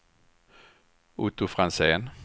Otto Franzén